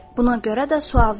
Buna görə də sual verdi.